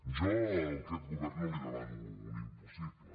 jo a aquest govern no li demano un impossible